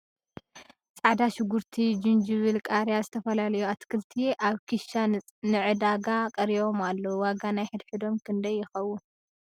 ፃዕዳ ሹግርቲ ፣ ጅንጅብል ፣ ቃርያ፣ ዝተፈላለዩ ኣትክልቲ ኣብ ኪሻ ን ዕዳጋ ቀሪቦም ኣለዉ ። ዋጋ ናይ ሕድ ሕዶም ክንደይ ይከውን ?